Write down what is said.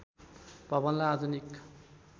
भवनलाई आधुनिक